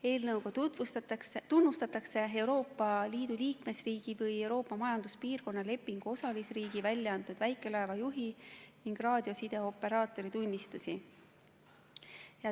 Eelnõu näeb ette tunnustada Euroopa Liidu liikmesriigi või Euroopa Majanduspiirkonna lepingu osalisriigi väljaantud väikelaeva juhi ning raadiosideoperaatori tunnistusi.